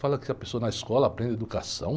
Fala que a pessoa na escola aprende educação.